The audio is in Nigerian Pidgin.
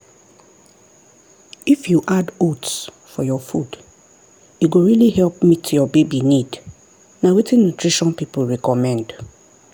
if you add oats for your food e go really help meet your baby need na wetin nutrition people recommend.